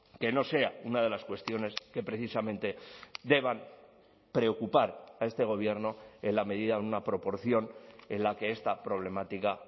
que no sea una de las cuestiones que precisamente deban preocupar a este gobierno en la medida en una proporción en la que esta problemática